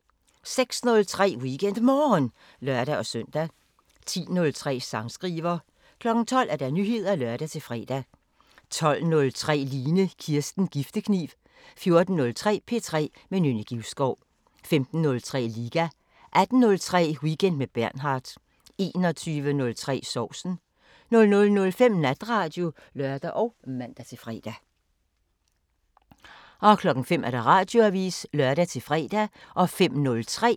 06:03: WeekendMorgen (lør-søn) 10:03: Sangskriver 12:00: Nyheder (lør-fre) 12:03: Line Kirsten Giftekniv 14:03: P3 med Nynne Givskov 15:03: Liga 18:03: Weekend med Bernhard 21:03: Sovsen 00:05: Natradio (lør og man-fre) 05:00: Radioavisen (lør-fre)